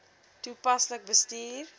toepaslik bestuur